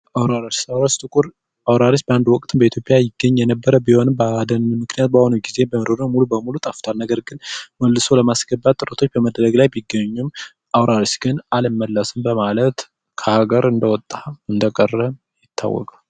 ጥቁር አውራሪስ ባንድ ወቅት በኢትዮጵያ ይገኝ የነበረ ቢሆንም በአሁኑ ጊዜ ሙሉ በሙሉ ጠፍታል ነገር ግን መልሶ ለማስገባት ጥረቶች ቢደረጉም አልመለስም በማለት ከሃገር እንደወጣ ቀርቷል።